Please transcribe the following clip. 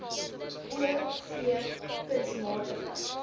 o v kunsmatige